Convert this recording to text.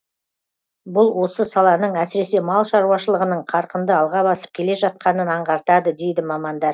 бұл осы саланың әсіресе мал шаруашылығының қарқынды алға басып келе жатқанын аңғартады дейді мамандар